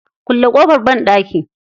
Kulle ƙofar banɗaki.